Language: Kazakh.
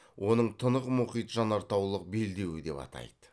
оның тынық мұхит жанартаулық белдеуі деп атайды